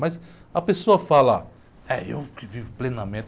Mas a pessoa fala, é, eu que vivo plenamente.